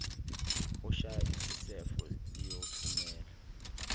oshaya isisefo liyothumela